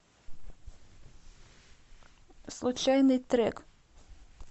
случайный трек